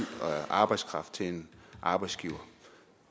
og arbejdskraft til en arbejdsgiver